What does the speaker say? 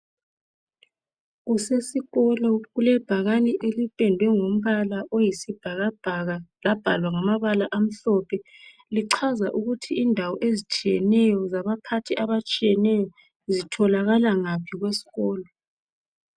Kusesikolo kulebhakane elipendwe ngompala oyisibhakabhaka labhalwa ngamabala amhlophe kuchza indawo ezitshiyeneyo zabaphathi abatshiyeneyo zitholakala ngaphi kwesikolo.